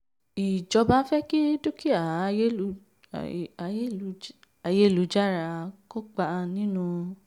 ijọba fẹ́ kí dúkìá dúkìá ayélujára kópa nínú ìdàgbàsókè orílẹ̀-èdè.